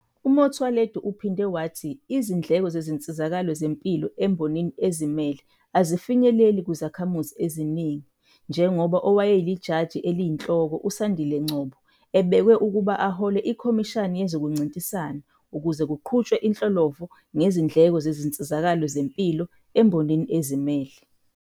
UMotsoaledi uphinde wathi izindleko zezinsizakalo zempilo embonini ezimele azifinyeleleki kuzakhamuzi eziningi, njengoba owayeLijaji Eliyinhloko uSandile Ngcobo ebekwe ukuba ahole iKhomishini yezokuNcintisana ukuze kuqhutshwe inhlolovo ngezindleko zezinsizakalo zempilo embonini ezimele.